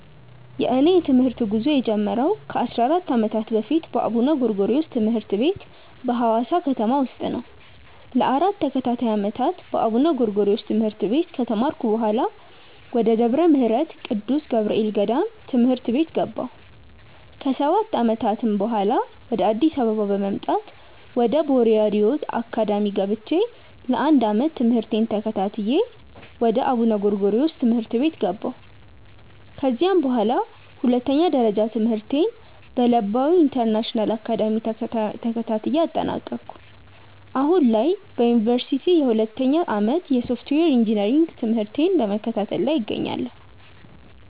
የእኔ የትምህርት ጉዞ የጀመረው ከ 14 ዓመታት በፊት በአቡነ ጎርጎሪዎስ ትምህርት ቤት በሀዋሳ ከተማ ውስጥ ነው። ለ 4 ተከታታይ ዓመታት በአቡነ ጎርጎሪዮስ ትምህርት ቤት ከተማርኩ በኃላ፣ ወደ ደብረ ምህረት ቅዱስ ገብርኤል ገዳም ትምህርት ቤት ገባሁ። ከ 7 ዓመታትም በኃላ፣ ወደ አዲስ አበባ በመምጣት ወደ ቦርያድ ዮዝ አካዳሚ ገብቼ ለ 1 ዓመት ትምህርቴን ተከታትዬ ወደ አቡነ ጎርጎሪዮስ ትምህርት ቤት ገባሁ። ከዚያም በኃላ ሁለተኛ ደረጃ ትምህርቴን በለባዊ ኢንተርናሽናል አካዳሚ ተከታትዬ አጠናቀኩ። አሁን ላይ በዮኒቨርሲቲ የሁለተኛ ዓመት የሶፍትዌር ኢንጂነሪንግ ትምህርቴን በመከታተል ላይ እገኛለሁ።